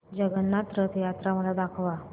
जगन्नाथ रथ यात्रा मला दाखवा